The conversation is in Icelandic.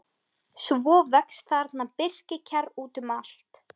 Svo vex þarna birkikjarr út um allt.